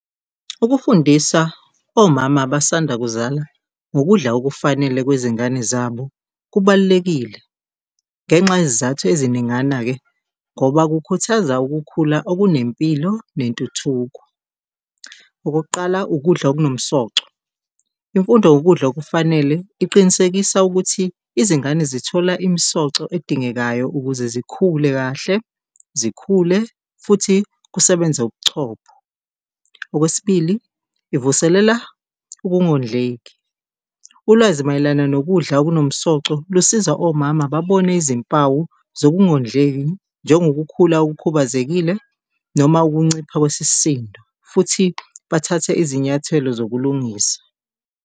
Ukufundisa omama abasanda kuzala ngokudla okufanele kwezingane zabo kubalulekile ngenxa yezizathu eziningana-ke, ngoba kukhuthaza ukukhula okunempilo nentuthuko. Okokuqala, ukudla okunomsoco, imfundo ngokudla okufanele iqinisekisa ukuthi izingane zithola imisoco edingekayo ukuze zikhule kahle, zikhule futhi kusebenze ubuchopho. Okwesibili, ivuselela ukungondleki, ulwazi mayelana nokudla okunomsoco lusiza omama babone izimpawu zokungondleki njengo kukhula okhubazekile noma ukuncipha kwesisindo futhi bathathe izinyathelo zokulungisa.